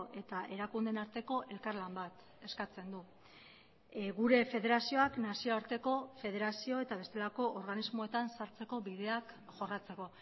eta erakundeen arteko elkarlan bat eskatzen du gure federazioak nazioarteko federazio eta bestelako organismoetan sartzeko bideak jorratzeko